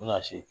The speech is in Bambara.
U bɛna se